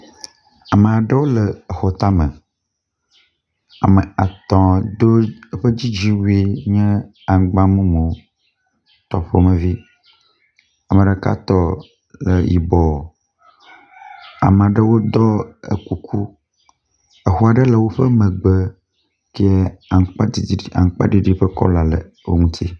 ame aɖewo le exɔ tame ame atɔ ɖó eƒe dzidziwui nye angba mumu tɔ ƒumevi ameɖeka tɔ le yibɔ amaɖewo ɖɔ e kuku exoe ɖe le wó megbe ye aŋutsiɖiɖi ƒe kɔla le eŋuti